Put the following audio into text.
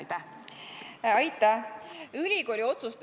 Aitäh!